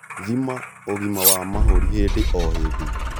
Thima ũgima wa mahũri hĩndĩ o hĩndĩ